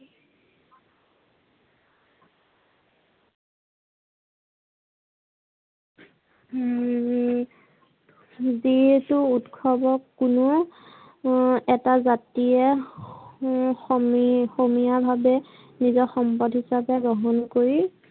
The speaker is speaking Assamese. হম যিহেতু ঊৎসৱক কোনো এটা জাতিয়ে সমিয় সমিয় ভাবে নিজৰ সম্পদ হিচাপে গ্ৰহণ কৰি